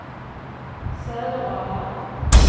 Söderala